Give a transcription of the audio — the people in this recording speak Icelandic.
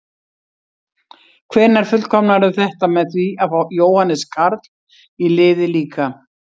Hvenær fullkomnarðu þetta með því að fá Jóhannes Karl í liðið líka?